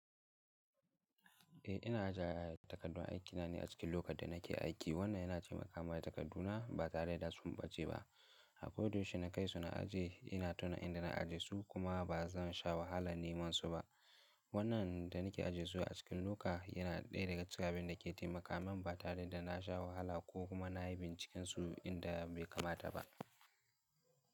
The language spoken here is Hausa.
Eh ina ajiye takardun aikina ne a cikin lokan da nake aiki, wannan yana taimaka wa takarduna ba tare da suɓaɓɓace ba. Akoda yaushe na kai suna ajiye, ina tuna inda na ajiye su kuma ba zan sha wahala neman su ba. Wannan da nake ajiye su a cikin loka yana ɗaya daga cikin abin da ke taimaka min ba tare da na sha wahala ko kuma na yi binciken su inda bai kamata ba.